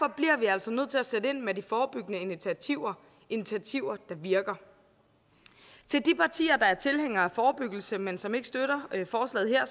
bliver vi altså nødt til at sætte ind med de forebyggende initiativer initiativer der virker til de partier der er tilhængere af forebyggelse men som ikke støtter forslaget her